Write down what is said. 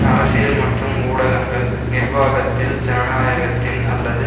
அரசியல் மற்றும் ஊடகங்கள் நிர்வாகத்தில் ஜனநாயகத்தின் அல்லது